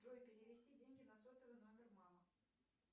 джой перевести деньги на сотовый номер мамы